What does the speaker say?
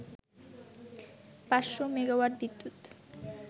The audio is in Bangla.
৫০০ মেগা্ওয়াট বিদ্যুৎ